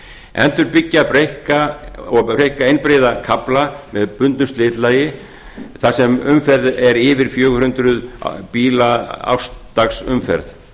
endurbyggja og breikka einbreiða kafla með bundnu slitlagi á sem umferð er yfir fjögur hundruð bíla árs dags umferð